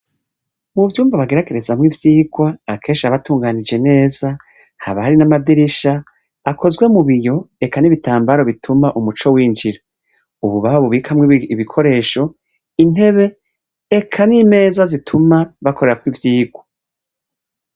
Mu vyumba bageragerezamwo ivyigwa akenshi haba hatunganije neza haba hari n'amadirisha akozwe mu biyo eka n'ibitambara bituma umuco winjira. Ububati babikamwo ibikoresho, intebe eka n'imeza zituma bakorerako ivyigwa.